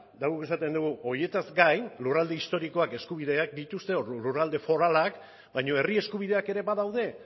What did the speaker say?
eta guk esaten dugu horietaz gain lurralde historikoak eskubideak dituzte lurralde foralak baina herri eskubideak ere badaude